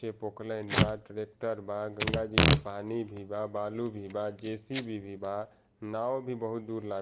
के पोकलैंड बा ट्रैक्टर बा गंगा जी के पानी भी बा बालू भी बा जे.सी.बी. भी बा नाव भी बहुत दूर लागल --